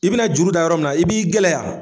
I bina juru da yɔrɔ min na i b'i gɛlɛya.